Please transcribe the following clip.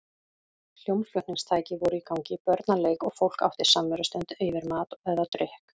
Hljómflutningstæki voru í gangi, börn að leik og fólk átti samverustund yfir mat eða drykk.